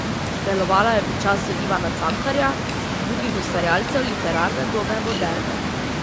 Delovala je v času Ivana Cankarja in drugih ustvarjalcev literarne dobe moderne.